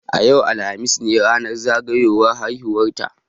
Yau, alhamis ne ranar zagayowan haihuwa ta.